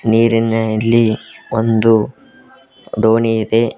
ನೀರಿನ ನಲ್ಲಿ ಒಂದು ದೋಣಿ ಇದೆ.